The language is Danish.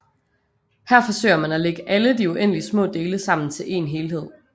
Her forsøger man at lægge alle de uendeligt små dele sammen til en helhed